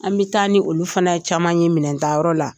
An bɛ taa ni olu fana ye caman ye minɛntayɔrɔ la